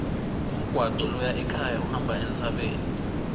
umgwaco loya ekhaya uhamba entsabeni